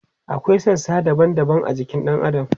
akwai sassa daban daban a jikin ɗan adam